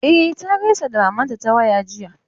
E, ta gaisa da mamanta ta waya jiya.